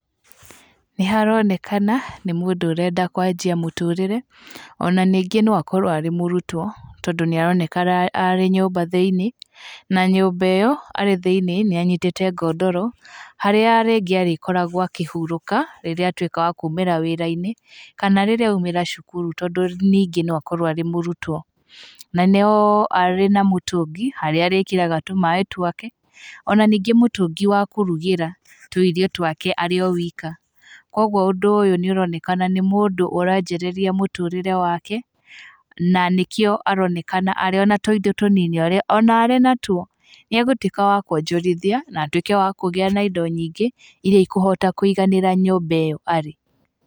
Nĩ haronekana nĩ mũndũ ũrenda kwanjia mũtũrĩre, ona ningĩ no akorwo arĩ mũrutwo, tondũ nĩ aronekana arĩ nyũmba thĩiniĩ, na nyũmba ĩyo arĩ thĩiniĩ, nĩ anyitĩte ngondoro, harĩa rĩngĩ arĩkoragwo akĩhurũka, rĩrĩa atuĩka wa kũmĩra wĩra-inĩ, kana rĩrĩa aumĩra cukuru tondũ ningĩ no akorwo arĩ mũrutwo. Na no arĩ na mũtũngi harĩa arĩkĩraga tũmaĩ twake, ona ningĩ mũtũngi wa kũrugĩra tũirio twake arĩ o wika. Koguo ũndũ ũyũ nĩ ũronekana nĩ mũndũ ũranjĩrĩria mũtũrĩre wake, na nĩkĩo aronekana arĩona tũindo tũnini ona arĩ natuo, nĩ agũtuĩka wa kuonjorithia na atuĩke wa kũgĩa na indo nyingĩ, iria ikũhota kũiganĩra nyũmba ĩyo arĩ.